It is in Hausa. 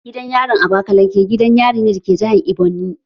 Gidan yarin abakaleke gidan yarin ne da ke jihar Ebonyi